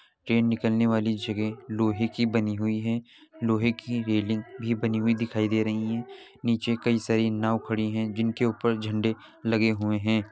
Train निकल ने वाली जगह लोहे की बनी हुई है लोहे की रेलिंग भी बनी हुई दिखायी दे रही हैं। नीचे कई सारी नाव खड़ी हैं जिनके ऊपर झंडे लगे हुए हैं।